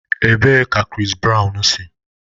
Ebee ka Chris Brown si?